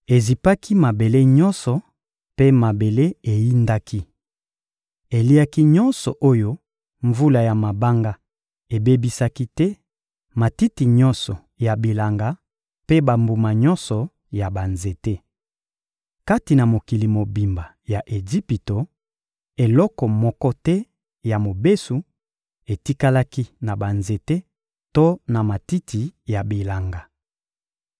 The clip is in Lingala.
Ezipaki mabele nyonso mpe mabele eyindaki. Eliaki nyonso oyo mvula ya mabanga ebebisaki te: matiti nyonso ya bilanga mpe bambuma nyonso ya banzete. Kati na mokili mobimba ya Ejipito, eloko moko te ya mobesu etikalaki na banzete to na matiti ya bilanga.